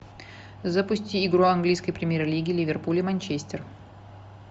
запусти игру английской премьер лиги ливерпуль и манчестер